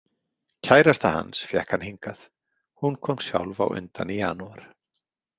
Kærasta hans fékk hann hingað, hún kom sjálf á undan í janúar.